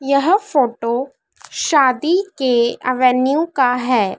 यह फोटो शादी के अ वैन्यू का है।